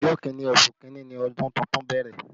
Ọjọ́ Kínní oṣù kinni ni ọdún tuntun bẹ̀rẹ̀